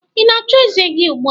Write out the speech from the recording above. Ị na-achụ eze gi ugbua?